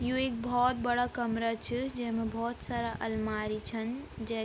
यु इक भोत बड़ा कमरा च जैमा भोत सारा अलमारी छन जे ।